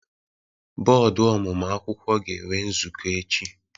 Bọọdụ ọmụmụ akwụkwọ ga-enwe nzukọ echi.